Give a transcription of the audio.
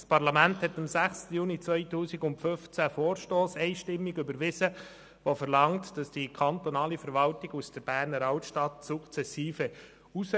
Das Parlament überwies am 6. Juni 2015 einstimmig einen Vorstoss, der verlangte, dass die kantonale Verwaltung sukzessive aus der Berner Altstadt wegziehe.